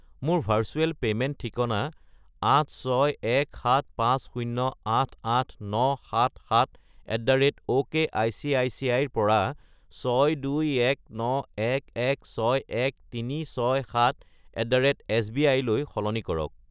মোৰ virtual payment ঠিকনা 86175088977@okcici -ৰ পৰা 62191161367@sbi -লৈ সলনি কৰক।